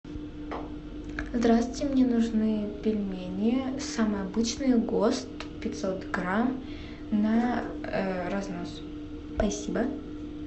здравствуйте мне нужны пельмени самые обычные гост пятьсот грамм на разнос спасибо